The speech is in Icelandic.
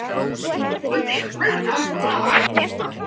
Dyrnar opna oft ég má.